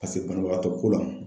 Paseke banabagatɔ ko la.